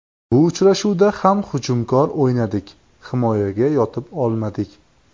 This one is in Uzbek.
Bu uchrashuvda ham hujumkor o‘ynadik, himoyaga yotib olmadik.